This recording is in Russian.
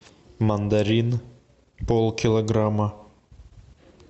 мандарин полкилограмма